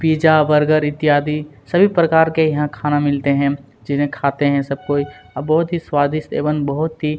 pizza burger इत्यादि सभी प्रकार के यहां खाना मिलते हैं जिन्हें कहते हैं सब कोई और बहुत ही स्वादिष्ट एवं बहुत ही--